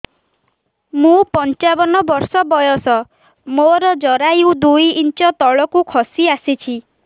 ମୁଁ ପଞ୍ଚାବନ ବର୍ଷ ବୟସ ମୋର ଜରାୟୁ ଦୁଇ ଇଞ୍ଚ ତଳକୁ ଖସି ଆସିଛି